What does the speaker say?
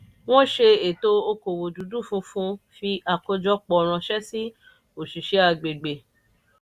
wọ́n ṣe ètò okòwò dúdú funfun fí àkójọpọ̀ ránṣẹ́ sí òṣìṣẹ́ agbègbè.